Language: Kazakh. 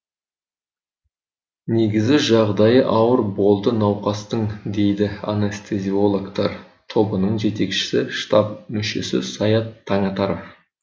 негізі жағдайы ауыр болды науқастың дейді анестезиологтар тобының жетекшісі штаб мүшесі саят таңатаров